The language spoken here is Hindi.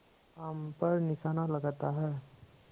आम पर निशाना लगाता है